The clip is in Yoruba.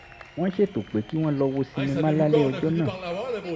wọ́n ṣètò pé kí wọ́n lọ wo sinimá lálẹ́ ọjọ́ náà